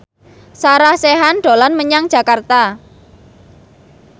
Sarah Sechan dolan menyang Jakarta